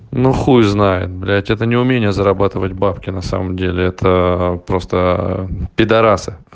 ну хуй знает блять это не умение зарабатывать бабки на самом деле это просто пидарасы